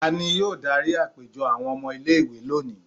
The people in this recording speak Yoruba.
ta ni yóò dari apejọ awọn ọmọ ile-iwe loni?